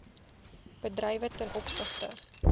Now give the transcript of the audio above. bedrywe ten opsigte